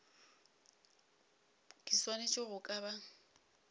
ke swanetše go ka ba